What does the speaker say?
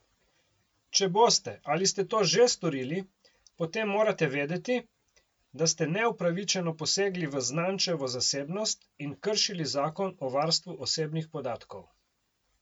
Če boste ali ste to že storili, potem morate vedeti, da ste neupravičeno posegli v znančevo zasebnost in kršili zakon o varstvu osebnih podatkov.